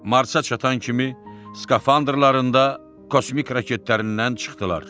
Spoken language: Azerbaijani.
Marsa çatan kimi skafandrlarından, kosmik raketlərindən çıxdılar.